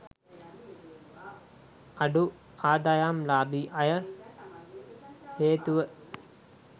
අඩු ආදායම්ලාභී අය හේතුව